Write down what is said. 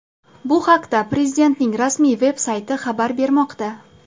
Bu haqda Prezidentning rasmiy veb-sayti xabar bermoqda .